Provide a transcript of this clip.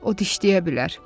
O dişləyə bilər.